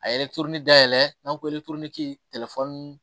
A ye dayɛlɛ n'an ko